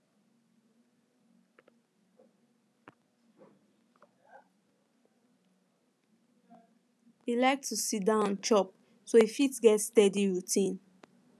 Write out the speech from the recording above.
e like to siddon chop so e fit get steady routine